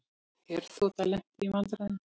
Herþota lenti í vandræðum